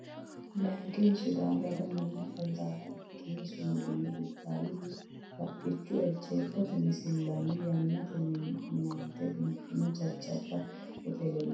Leyikkihu Sidaamu daga mayimma xawishsha ikkino sumudinna Dubbaalihu badhicho ejjeetote misillanna yaannate minante biiffino jajjabba hoteellanna fooqqa labbannoreeti Leyikkihu Leyikkihu.